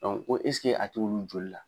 ko a t'olu joli la?